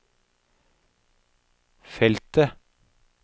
feltet